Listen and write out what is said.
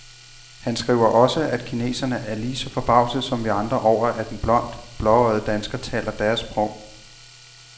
Han skriver også, at kineserne er lige så forbavsede som vi andre over, at en blond, blåøjet dansker taler deres sprog.